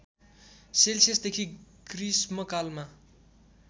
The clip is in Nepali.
सेल्सियसदेखि गृष्मकालमा